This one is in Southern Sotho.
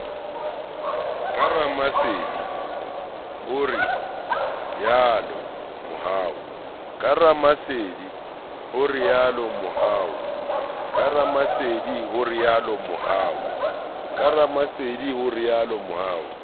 ka ramasedi ho rialo mohau